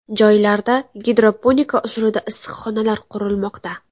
Joylarda gidroponika usulida issiqxonalar qurilmoqda.